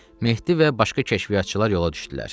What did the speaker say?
Mehdi və başqa kəşfiyyatçılar yola düşdülər.